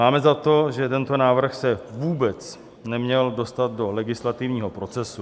Máme za to, že tento návrh se vůbec neměl dostat do legislativního procesu.